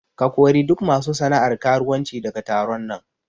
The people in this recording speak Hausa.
Ka kori duk masu sana'ar karuwanci daga taron nan!